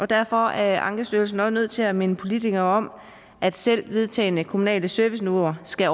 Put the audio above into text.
derfor er ankestyrelsen også nødt til at minde politikerne om at selv vedtagne kommunale serviceniveauer skal